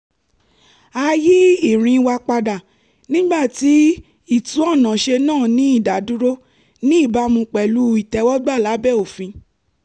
a yí ìrìn wa padà nígbà tí ìtúnọ̀nàṣe náà ní ìdádúró ní ìbámu pẹ̀lú ìtẹ́wọ́gbà lábẹ́ òfin